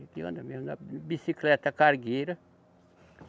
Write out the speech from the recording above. Ele anda mesmo na bicicleta cargueira.